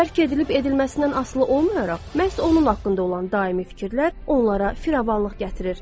Dərk edilib edilməsindən asılı olmayaraq məhz onun haqqında olan daimi fikirlər onlara firavanlıq gətirir.